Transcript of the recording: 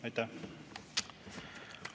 Aitäh!